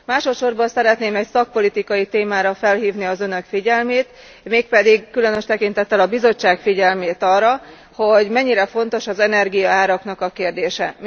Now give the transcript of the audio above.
Másodsorban szeretném egy szakpolitikai témára felhívni az Önök figyelmét, mégpedig különös tekintettel a Bizottság figyelmét arra, hogy mennyire fontos az energiaáraknak a kérdése.